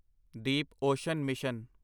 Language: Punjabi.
Deep ocean mission